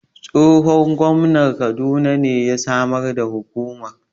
Tsohon Gwamnan kaduna ne ya Samar da Hukumar